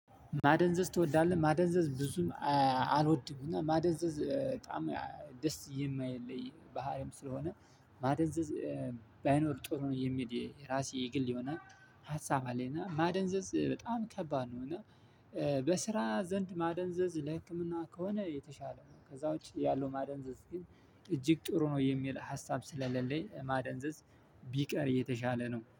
ማደንዘዝ ትወዳለህ ማደንዘዝ ብዙም አልወድምና ማደንዘዝ በጣም ደስ የማይል ባህሪም ስለሆነ ማደንዘዝ ባይኖር ጥሩ ነው የሚል የራሴ የግል ይሆነ ሀሳብ አለኝ። እና ማደንዘዝ በጣም ከባድ ነውና። በስራ ዘንድ ማደንዘዝ ለህክምና ከሆነ የተሻለ ነው ከዛ ውጪ ያለው ማደንዘዝ ግን እጅግ ጥሩ ነው የሚል ሀሳብ ስለሌለኝ። ማደንዘዝ ቢቀር የተሻለ ነው